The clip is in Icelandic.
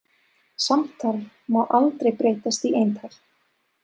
Samtal má aldrei breytast í eintal.